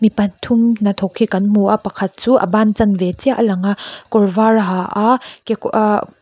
pathum hnathawk hi kan hmu a pakhat chu a ban chanve chiah a lang a kawr var a ha a kekaw ahh --